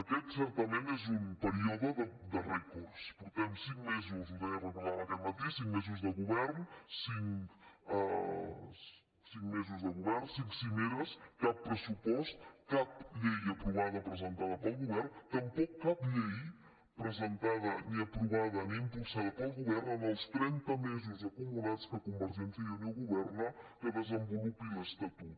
aquest certament és un període de rècords portem cinc mesos ho deia ho recordàvem aquest matí cinc mesos de govern cinc cimeres cap pressupost cap llei aprovada presentada pel govern tampoc cap llei presentada ni aprovada ni impulsada pel govern en els trenta mesos acumulats que convergència i unió governa que desenvolupi l’estatut